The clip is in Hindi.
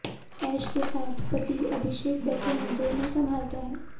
ऐश के साथ पति अभिषेक बैठे हैं जो उन्हें संभालता है